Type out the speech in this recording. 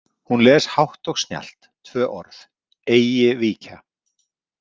Hún les hátt og snjallt, tvö orð: Eigi víkja.